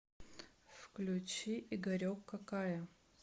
включи игорек какая